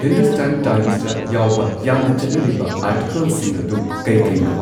ꯍꯤꯟꯗꯨꯁꯇꯥꯟ ꯇꯥꯏꯝꯁꯇ ꯌꯥꯎꯕ ꯌꯥꯝꯅ ꯆꯠꯅꯔꯤꯕ ꯑꯥꯔꯇꯤꯀꯜꯁꯤꯡ ꯑꯗꯨ ꯀꯩ ꯀꯩꯅꯣ